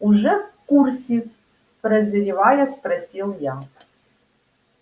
уже в курсе прозревая спросил я